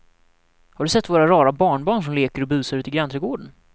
Har du sett våra rara barnbarn som leker och busar ute i grannträdgården!